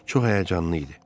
Çox həyəcanlı idi.